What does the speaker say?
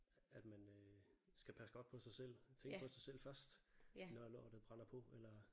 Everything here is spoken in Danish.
At man øh skal passe godt på sig selv og tænke på sig selv først når lortet brænder på eller